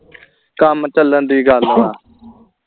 ਕੰਮ ਚਲਣ ਦੀ ਗੱਲ ਵਾ